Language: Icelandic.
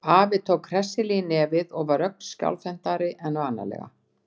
Afi tók hressilega í nefið og var ögn skjálfhentari en vanalega.